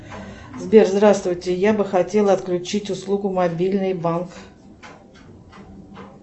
сбер здравствуйте я бы хотела отключить услугу мобильный банк